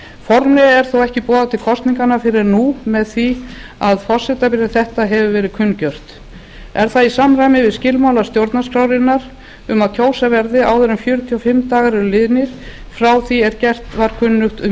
formlega er þó ekki boðað til kosninganna fyrr en nú með því að forsetabréf þetta hefur verið kunngjört er það í samræmi við skilmála stjórnarskrárinnar um að kjósa verði áður en fjörutíu og fimm dagar eru liðnir frá því að gert var kunnugt um